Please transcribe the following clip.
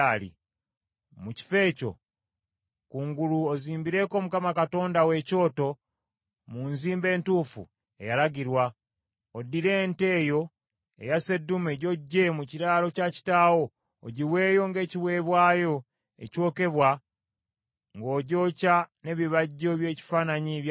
mu kifo ekyo kungulu ozimbireko Mukama Katonda wo ekyoto mu nzimba entuufu eyalagirwa, oddire ente eyo eya sseddume gy’oggye mu kiraalo kya kitaawo ogiweeyo ng’ekiweebwayo ekyokebwa ng’ogyokya n’ebibajjo by’ekifaanannyi kya Asera.”